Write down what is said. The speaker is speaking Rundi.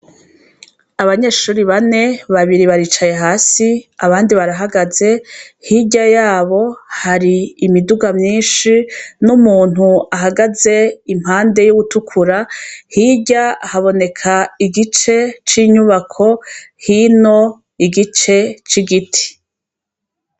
Abanyeshure bane, babiri baricaye hasi, abandi barahagaze. Hirya yabo hari imiduga myinshi n'umuntu ahagaze impande y'uwutukura, hirya haboneka igice c'inyubako, hino igice c'igiti.